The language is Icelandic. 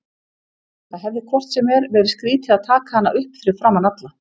Það hefði hvort sem er verið skrýtið að taka hana upp fyrir framan alla.